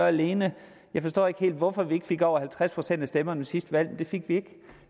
alene jeg forstår ikke helt hvorfor vi ikke fik over halvtreds procent af stemmerne ved sidste valg men det fik vi ikke